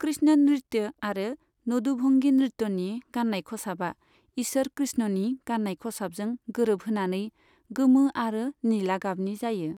कृष्ण नृत्य आरो नदुभंगि नृत्यनि गाननाय खसाबा इसोर कृष्णनि गाननाय खसाबजों गोरोब होनानै गोमो आरो निला गाबनि जायो।